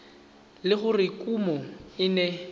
le gore kumo e ne